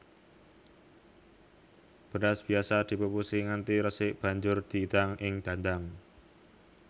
Beras biasa dipupusi nganti resik banjur didang ing dandang